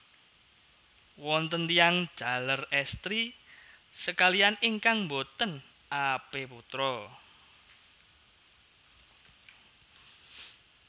Wonten tiyang jaler èstri sakalihan ingkang boten apeputra